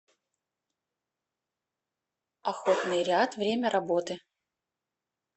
охотный ряд время работы